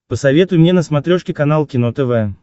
посоветуй мне на смотрешке канал кино тв